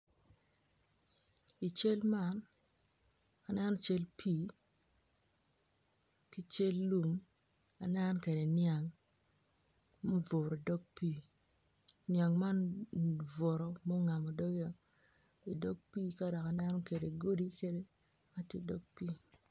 I cal man aneno cal pii ki cal pii anenno kwede nyang ma obuto idog pii nyang man obuto ma ongamo dogeo idog pii ka dok aneno kwede godi mukene ma tye idog pii.